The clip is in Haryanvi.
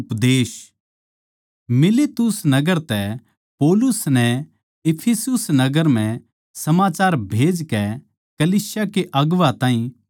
मिलेतुस नगर तै पौलुस नै इफिसुस नगर म्ह समाचार भेजकै कलीसिया के कलीसिया के अगुवां ताहीं बुलवाया